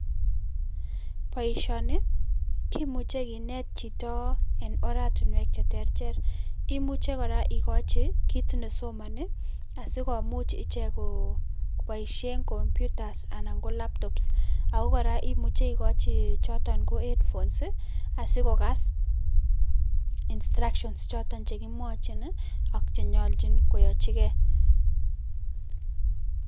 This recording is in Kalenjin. Boisioni ii kimuje kinet chito enn oratinwek che terter, imuche kora ikochi kit nesomoni asikomuch ichek Koo kobaisien computers anan ko laptops, Ako kora imuche ikojii joton ko headphones ii asikokas instructions choton jekimwochin ii ak jenyolchin koyachiken.